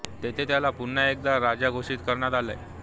तेथे त्याला पुन्हा एकदा राजा घोषित करण्यात आले